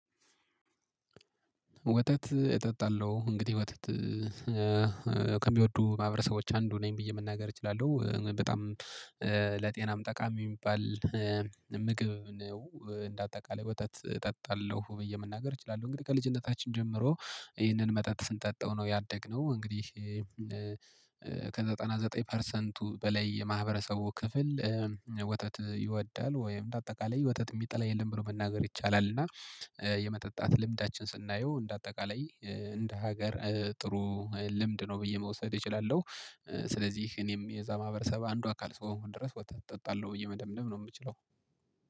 ወተት እጠጣለሁ እንግዲህ ወተት ከሚወዱ ማህበረሰቦች አንዱ ነኝ ብዬ መናገር እችላለሁ በጣም ለጤናም ጠቃሚ የሚባል ምግብ ነው እንደ አጠቃላይ ወተት እጠጣለሁ ብዬ መናገር እችላለሁ። እንግዲህ ከልጅነታችን ጀምሮ ይህንን መጠጥ ስንጠጣው ነው ያደግነው እንግዲህ ከዘጠና ዘጠኝ ፐርሰንቱ በላይ የማህበረሰቡ ክፍል ወተት ይወዳል ወይም እንደ አጠቃላይ ወተት የሚጠላ የለም ብሎ መናገር ይቻላል። እና የመጠጣት ልምዳችን ስናየው እንደ አጠቃላይ እንደ ሀገር ጥሩ ልምድ ነው ብዬ መውሰድ እችላለሁ። ስለዚህ እኔም የዛ ማህበረሰብ አንዱ አካል እስከሆንኩ ድረስ ወተት እጠጣለሁ ብዬ መደምደም ነው የምችለው።